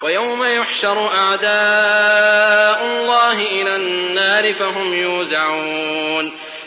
وَيَوْمَ يُحْشَرُ أَعْدَاءُ اللَّهِ إِلَى النَّارِ فَهُمْ يُوزَعُونَ